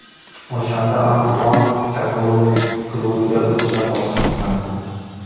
O‘shanda Antuan Kataloniya klubiga o‘tishdan bosh tortgandi.